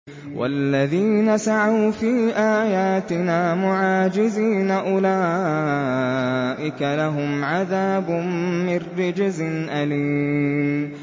وَالَّذِينَ سَعَوْا فِي آيَاتِنَا مُعَاجِزِينَ أُولَٰئِكَ لَهُمْ عَذَابٌ مِّن رِّجْزٍ أَلِيمٌ